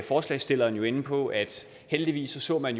forslagsstilleren inde på at heldigvis ser man